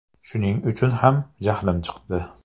Shuning uchun ham jahlim chiqdi.